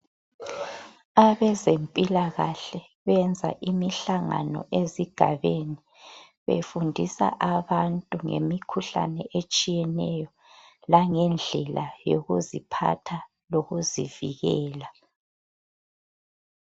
Abezempilakahle benza imihlangano ezigabeni befundisa abantu ngemikhuhlane etshiyeneyo langendlela yokuziphatha lokuzivikela.